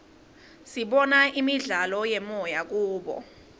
sibona imidlalo yemoya kubo